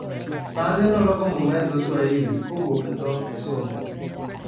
Bang'e, noloko Muma e dho Swahili kowuok e dho Kisungu.